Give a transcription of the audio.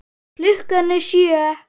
Klukkan er sjö!